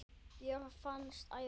jörð fannst æva